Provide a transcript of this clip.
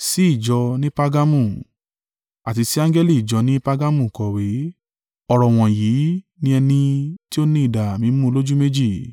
“Àti sì angẹli ìjọ ni Pargamu kọ̀wé. Ọ̀rọ̀ wọ̀nyí ni ẹni tí ó ní idà mímú olójú méjì.